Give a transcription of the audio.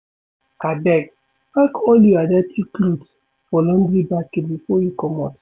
Abeg, pack all your dirty cloth for laundry basket before you comot.